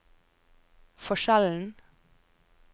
forskjellen